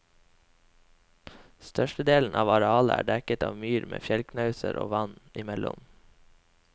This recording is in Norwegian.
Størstedelen av arealet er dekket av myr med fjellknauser og vann imellom.